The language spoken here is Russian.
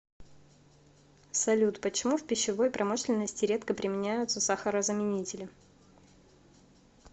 салют почему в пищевой промышленности редко применяются сахарозаменители